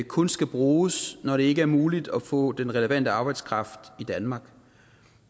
kun skal bruges når det ikke er muligt at få den relevante arbejdskraft i danmark